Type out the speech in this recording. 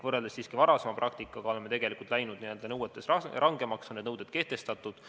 Võrreldes varasema praktikaga oleme tegelikult läinud rangemaks, need nõuded on kehtestatud.